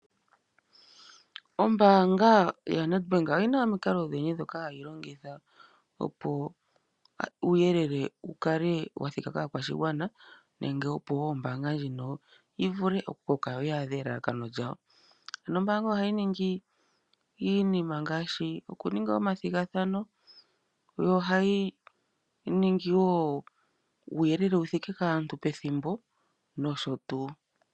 Ombaanga yaNedbamk oyi na omikalo odhindji ndhoka hadhi longithwa opo uuyelele wu kale wa thika kaakwashigwana nenge opo wo ombaanga ndjino yi vule okukala ya adha elalakano lyawo. Ombaanga ohayi ningi iinima ngaashi okuninga omathigathano, yo ohayi ningi wo uuyelele wu thike kaantu pethimbo nosho tuu.